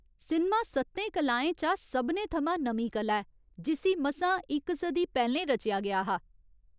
Cinema सत्तें कलाएं चा सभनें थमां नमीं कला ऐ, जिस्सी मसां इक सदी पैह्‌लें रचेआ गेआ हा।